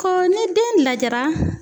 Ko ni den lajɛra